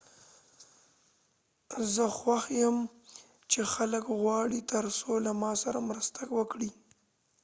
زه خوښ یم چې خلک غواړي ترڅو له ما سره مرسته وکړي